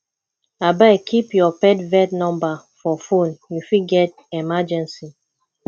abeg keep your pet vet number for phone you fit get emergency